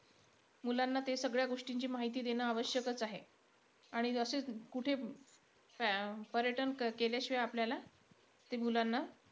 मुलांना ते सगळ्या गोष्टींची माहिती देणं आवश्यकचं आहे. आणि असे कुठे पर्यटन के अं केल्याशिवाय आपल्याला, ते मुलांना,